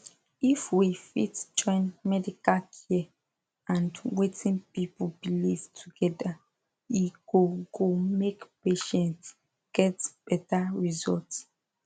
if we fit join medical care and wetin people believe together e go go make patients get better result